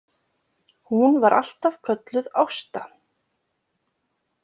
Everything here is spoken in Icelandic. Hún var alltaf kölluð Ásta.